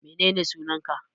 Menene sunan ka?